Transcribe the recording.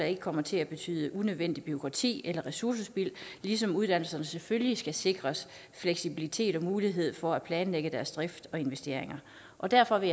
ikke kommer til at betyde unødvendigt bureaukrati eller ressourcespild ligesom uddannelserne selvfølgelig skal sikres fleksibilitet og mulighed for at planlægge deres drift og investeringer og derfor vil